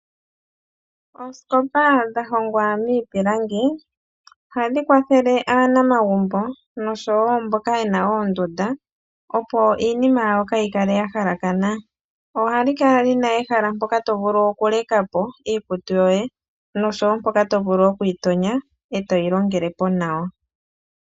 Oosikopa dhahongwa miipilangi ohadhi kwathele aanamagumbo nosho wo mboka ye na oondunda opo iinima yawo ka yi kale ya halakana, ohadhi kala dhina ehala mpoka to vulu oku leka po iikutu yo ye noshowo mpoka to vulu okuyi gonya e toyi longele po nawa.